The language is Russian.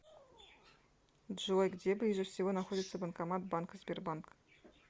джой где ближе всего находится банкомат банка сбербанк